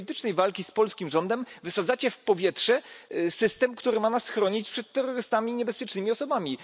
W imię politycznej walki z polskim rządem wysadzacie w powietrze system, który ma nas chronić przed terrorystami i niebezpiecznymi osobami.